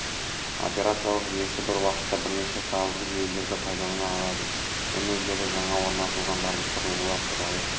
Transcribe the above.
операциялық жүйесі бір уақытта бірнеше файлдық жүйелерді пайдалана алады менеджері жаңа орнатылған барлық құрылғылар туралы